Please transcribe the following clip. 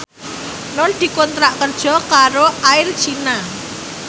Nur dikontrak kerja karo Air China